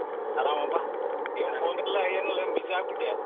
ಅರಾಮಪ್ಪ ಏನ್ phone ಇಲ್ಲ ಏನಿಲ್ಲ ಏನ್ busy ಆಗ್ಬಿಟ್ರಿಯಾ?